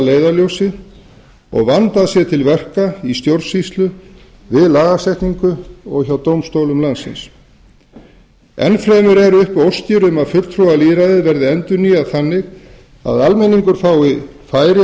leiðarljósi og vandað sé til verka í stjórnsýslu við lagasetningu og hjá dómstólunum enn fremur eru uppi óskir um að fulltrúalýðræðið verði endurnýjað þannig að almenningur fái færi